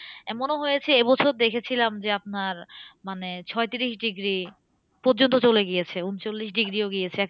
এমনও হয়েছে এবছর দেখেছিলাম যে, আপনার মানে ছত্রিশ degree পর্যন্ত চলে গিয়েছে, উনচল্লিশ degree ও গিয়েছে।